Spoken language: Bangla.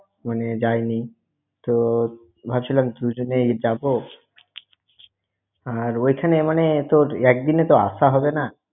মানে যাইনি। তো ভাবছিলাম দুজনেই যাব। আর ওইখানে মানে তোর একদিনে তো আশা হবেনা।